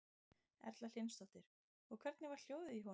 Erla Hlynsdóttir: Og hvernig var hljóðið í honum?